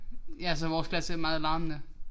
Ja altså vores klasse er meget larmende